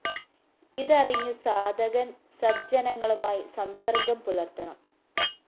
ഇതറിഞ്ഞു സാധകന്‍ സദ്ജനങ്ങളുമായി സംസര്‍ഗ്ഗം പുലര്‍ത്തണം